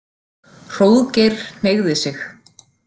Hróðgeir hneigði sig.